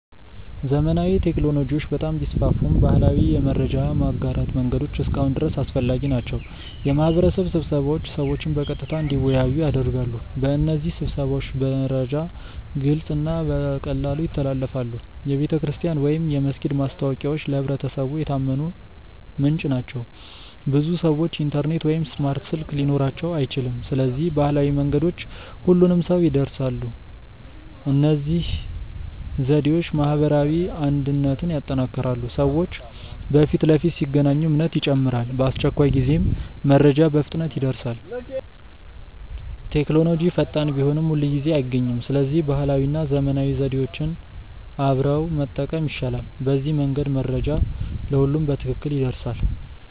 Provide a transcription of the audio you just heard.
ዘመናዊ ቴክኖሎጂዎች በጣም ቢስፋፉም ባህላዊ የመረጃ ማጋራት መንገዶች እስካሁን ድረስ አስፈላጊ ናቸው። የማህበረሰብ ስብሰባዎች ሰዎችን በቀጥታ እንዲወያዩ ያደርጋሉ። በእነዚህ ስብሰባዎች መረጃ ግልጽ እና በቀላሉ ይተላለፋል። የቤተክርስቲያን ወይም የመስጊድ ማስታወቂያዎች ለማህበረሰቡ የታመነ ምንጭ ናቸው። ብዙ ሰዎች ኢንተርኔት ወይም ስማርት ስልክ ሊኖራቸው አይችልም። ስለዚህ ባህላዊ መንገዶች ሁሉንም ሰው ይድረሳሉ። እነዚህ ዘዴዎች ማህበራዊ አንድነትን ያጠናክራሉ። ሰዎች በፊት ለፊት ሲገናኙ እምነት ይጨምራል። በአስቸኳይ ጊዜም መረጃ በፍጥነት ይደርሳል። ቴክኖሎጂ ፈጣን ቢሆንም ሁልጊዜ አይገኝም። ስለዚህ ባህላዊ እና ዘመናዊ ዘዴዎች አብረው መጠቀም ይሻላል። በዚህ መንገድ መረጃ ለሁሉም በትክክል ይደርሳል።